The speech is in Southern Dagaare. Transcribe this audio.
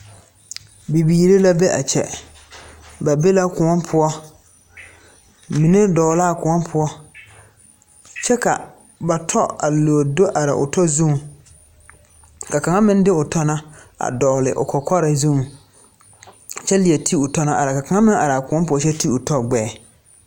Bibiiri la be a kyɛ ba be la koɔ poɔ mine dɔɔ la a koɔ poɔ kyɛ ka ba tɔ a leɛ do te are o tɔ zuŋ ka kaŋa meŋ de o tɔ na a dɔgle o kɔkɔre zuŋ kyɛ leɛ ti o tɔ na ka kaŋa meŋ are a koɔ poɔ kyɛ ti o tɔ gbɛɛ.